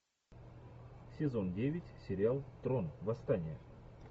сезон девять сериал трон восстание